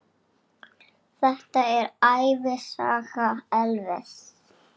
Þetta er ævisaga Elvis!